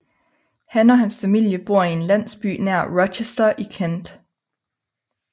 Han og hans familie bor i en landsby nær Rochester i Kent